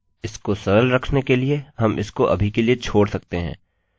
इसको सरल रखने के लिए हम इसको अभी के लिए छोड़ सकते हैं